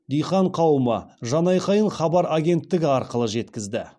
диқан қауым жан айқайын хабар агенттігі арқылы жеткізді